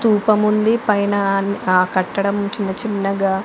దీపం ఉంది పైన ఆ కట్టడం చిన్న చిన్నగా.